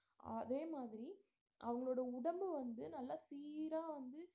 அதே மாதிரி அவங்களோட உடம்பு வந்து நல்லா சீரா வந்து